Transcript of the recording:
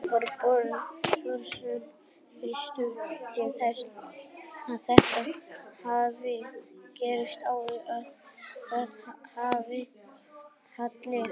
Þorbjörn Þórðarson: Veistu til þess að þetta hafi gerst áður, að það hafi fallið niður?